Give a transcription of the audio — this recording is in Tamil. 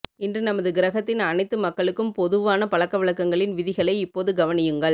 இன்று நமது கிரகத்தின் அனைத்து மக்களுக்கும் பொதுவான பழக்கவழக்கங்களின் விதிகளை இப்போது கவனியுங்கள்